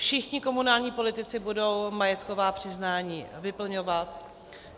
Všichni komunální politici budou majetková přiznání vyplňovat.